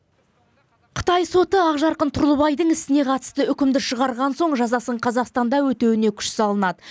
қытай соты ақжарқын тұрлыбайдың ісіне қатысты үкімді шығарған соң жазасын қазақстанда өтеуіне күш салынады